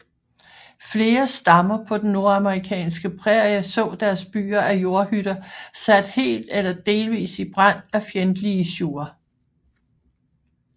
Flere stammer på den nordamerikanske prærie så deres byer af jordhytter sat helt eller delvis i brand af fjendtlige siouxer